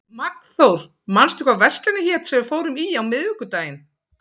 Magnþór, manstu hvað verslunin hét sem við fórum í á miðvikudaginn?